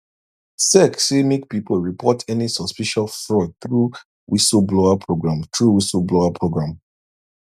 sec say make people report any suspicious fraud through whistle blower program through whistle blower program